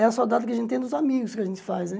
É a saudade que a gente tem dos amigos que a gente faz, né?